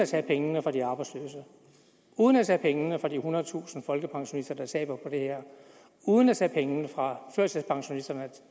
at tage pengene fra de arbejdsløse uden at tage pengene fra de ethundredetusind folkepensionister der taber på det her uden at tage pengene fra førtidspensionisterne